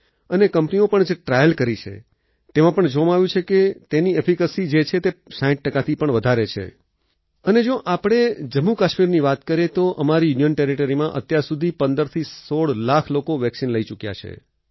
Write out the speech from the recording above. અને કંપનીઓ પણ જે ટ્રાયલ્સ કરી છે તેમા પણ જોવામાં આવ્યું કે તેની એફિકેસી જે છે તે 60 ટકાથી પણ વધારે છે અને જો આપણે જમ્મુકાશ્મીરની વાત કરીએ તો અમારી ઉત માં અત્યારસુધી 15થી 16 લાખ લોકો વેક્સિન લઈ ચૂક્યા છે